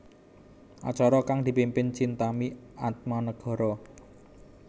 Acara kang dipimpin Chintami Atmanegara